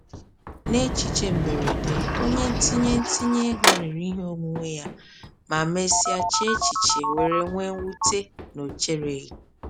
N’echiche mberede, onye ntinye ntinye ego rere ihe onwunwe ya ma mesịa chee echiche were nwee mwute na ọ chereghị.